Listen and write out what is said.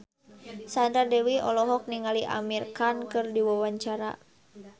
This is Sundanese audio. Sandra Dewi olohok ningali Amir Khan keur diwawancara